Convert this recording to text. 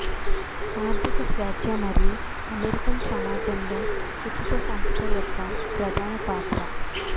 ఆర్ధిక స్వేచ్ఛ మరియు అమెరికన్ సమాజంలో ఉచిత సంస్థ యొక్క ప్రధాన పాత్ర